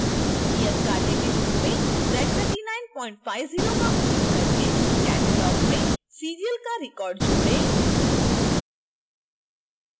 नियतकार्य के रूप में z3950 का उपयोग करके catalog में serial का रिकॉर्ड जोड़ें